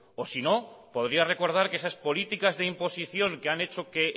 o sino podría recordar que esas políticas de imposición que han hecho que